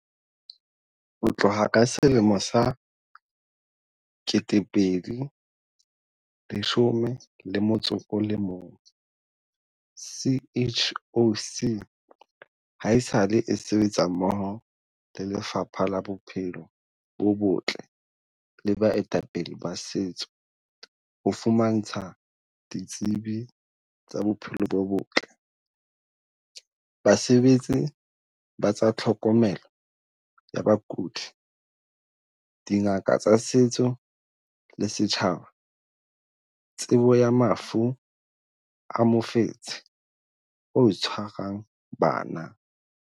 Ho tloha ka selemo sa 2011, CHOC haesale e sebetsa mmoho le Lefapha la Bophelo bo Botle le baetapele ba setso ho fumantsha ditsebi tsa bophelo bo botle, basebetsi ba tsa tlhokomelo ya bakudi, dingaka tsa setso le setjhaba tsebo ya mafu a mofetshe o tshwarang bana.